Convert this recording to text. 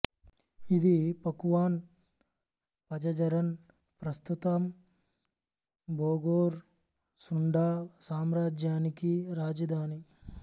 ఇది Pakuan Pajajaran ప్రస్తుతం Bogor Sunda సామ్రాజ్యానికి రాజధాని